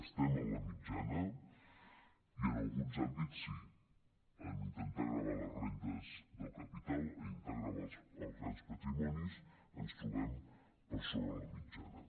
estem en la mitjana i en alguns àmbits sí en intentar gravar les rendes del capital en intentar gravar els grans patrimonis ens trobem per sobre la mitjana